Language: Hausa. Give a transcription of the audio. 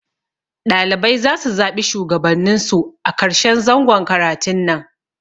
Ɗalibai zasu zaɓi Shugabannin su a karshen zangon karatun nan